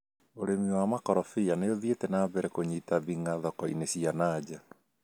ũrĩmi wa makorobia nĩũthiĩte na mbere kũnyita thing'a thoko-inĩ cia na nja